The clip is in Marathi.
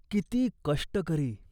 किती कष्ट करी !